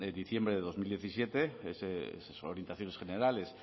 diciembre de dos mil diecisiete son orientaciones generales